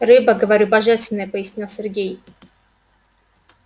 рыба говорю божественная пояснил сергей